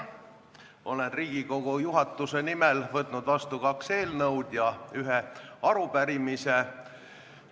Olen Riigikogu juhatuse nimel võtnud vastu kaks eelnõu ja ühe arupärimise.